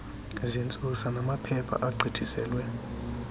zentsusa namaphepha agqithiselwe